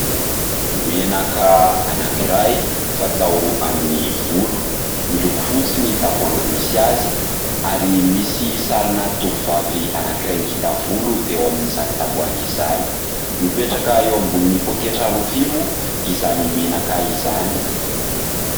Menaka anankiray fatao amin'ny volo, miloko fotsy ny tavoahangy misy azy ary misy sarina tovovavy anankiray ngita volo eo amin'izany tavoahangy izany, mipetraka eo ambonin'ny pôketra rofia moa izany menaka izany.